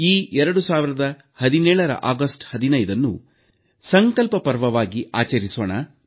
ಈ 2017ರ ಆಗಸ್ಟ್ 15ನ್ನು ಸಂಕಲ್ಪ ಪರ್ವವಾಗಿ ಆಚರಿಸೋಣ